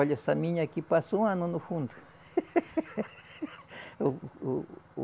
Olha, essa minha aqui passou um ano no fundo. O o o